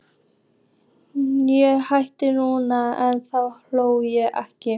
Ég hlæ núna en þá hló ég ekki.